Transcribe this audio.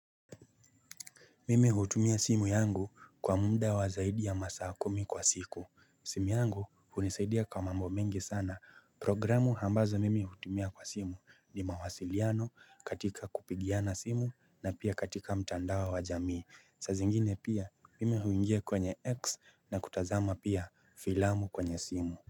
Mimi hutumia simu yangu kwa muda wa zaidi ya masaa kumi kwa siku. Simu yangu hunisaidia kwa mambo mingi sana. Programu ambazo mimi hutumia kwa simu ni mawasiliano katika kupigiana simu na pia katika mtandao wa jamii. Saa zingine pia mimi huingia kwenye X na kutazama pia filamu kwenye simu.